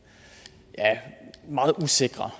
meget usikre